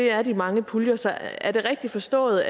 er de mange puljer så er det rigtigt forstået